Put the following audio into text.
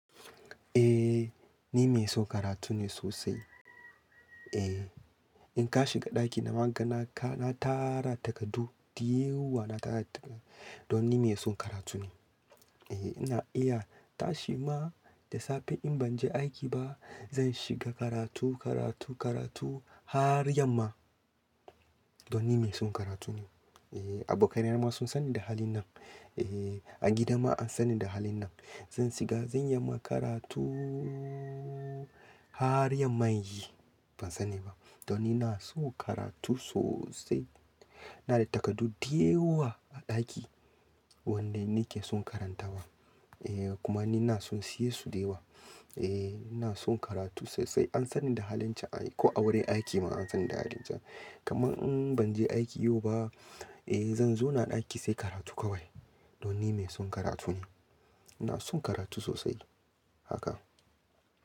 Eh, ni mai son karatu ne sosai. Eh, in ka shiga ɗaki na, ma kana tara takardu da yawa na tara takardu. Don ni mai son karatu ne. Eh, ina iya tashi ma da safe in ban je aiki ba, zan shiga karatu, karatu, karatu har yamma. Don ni mai son karatu ne. Eh, abokaina ma sun sani da halin nan. Eh, a gida ma an sani da halin nan. Sa suga, zan iyama karatu har yamma yazo. Ban sani ba. Don ni na son karatu sosai. Ina da takardu da yawa a ɗaki wanda ni ke son karantawa. Eh, kuma ni na son in siye su dayawa. Eh, ni na son karatu sosai. An sani da halin can ko a wurin aiki ma an sani da halin can. Kaman in ban je aiki yau ba, eh zan zauna a ɗaki sai karatu kawai. Don ni mai son karatu ne. Ina son karatu sosai haka.